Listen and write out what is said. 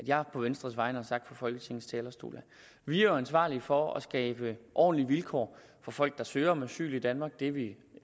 at jeg på venstres vegne har sagt fra folketingets talerstol vi er jo ansvarlige for at skabe ordentlige vilkår for folk der søger asyl i danmark det er vi